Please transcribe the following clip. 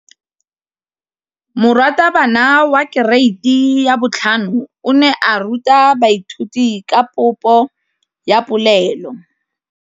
Moratabana wa kereiti ya 5 o ne a ruta baithuti ka popô ya polelô.